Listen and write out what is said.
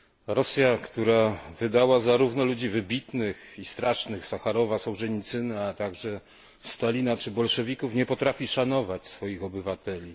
Rosja, która wydała zarówno ludzi wybitnych i strasznych, Sacharowa, Sołżenicyna, a także Stalina czy bolszewików, nie potrafi szanować swoich obywateli.